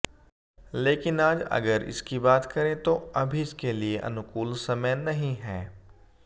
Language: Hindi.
लेकिन आज अगर इसकी बात करें तों अभी इसके लिए अनुकूल समय नहीं है